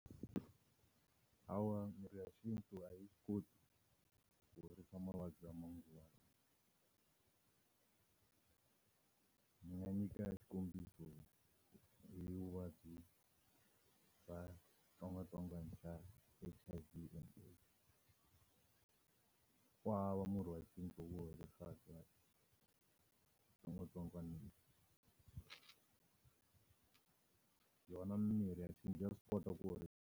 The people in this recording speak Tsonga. Hawa mirhi ya xintu a yi swi koti ku horisa mavabyi ya manguva lawa. Ndzi nga nyika xikombiso hi vuvabyi bya xitsongwatsongwana xa H_I_V na AIDS. Ku hava murhi wa xintu wu horisaka xitsongwatsongwana lexi. Yona mimirhi ya xintu ya swi kota ku .